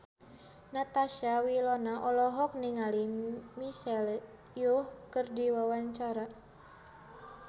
Natasha Wilona olohok ningali Michelle Yeoh keur diwawancara